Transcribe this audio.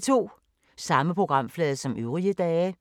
Samme programflade som øvrige dage